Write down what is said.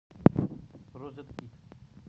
розеткит